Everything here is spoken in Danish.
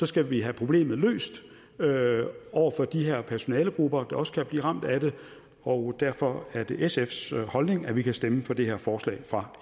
skal vi have problemet løst over for de her personalegrupper der også kan blive ramt af det og derfor er det sfs holdning at vi kan stemme for det her forslag fra